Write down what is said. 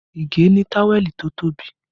Ige ni táwẹ̀lì tó tóbi